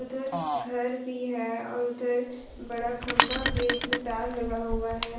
इधर घर भी है और उधर बड़ा खंभा भी इसमें तार लगा हुआ है।